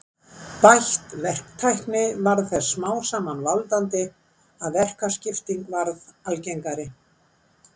Bætt verktækni varð þess smám saman valdandi að verkaskipting varð algengari.